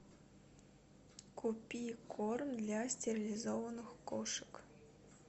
купи корм для стерилизованных кошек